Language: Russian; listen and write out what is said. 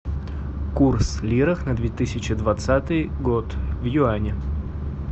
курс лиры на две тысячи двадцатый год в юани